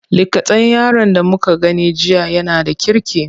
Likatan yaron da muka gani jiya yana da kirki.